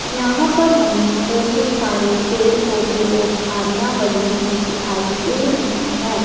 यहां पर हमें बहोत सारे पेड़ पौधे और झाड़ियां बनी हुई दिखाई दे रही है।